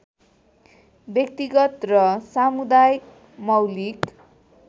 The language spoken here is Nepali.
व्यक्तिगत र सामुदायिक मौलिक